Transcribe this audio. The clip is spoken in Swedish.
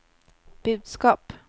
budskap